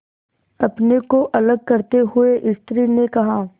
अपने को अलग करते हुए स्त्री ने कहा